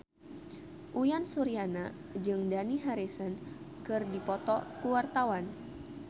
Uyan Suryana jeung Dani Harrison keur dipoto ku wartawan